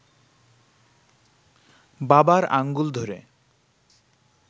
বাবার আঙুল ধরে